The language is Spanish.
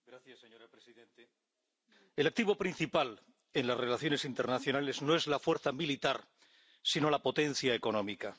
Señora presidenta, el activo principal en las relaciones internacionales no es la fuerza militar sino la potencia económica.